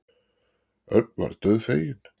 Örn varð dauðfeginn.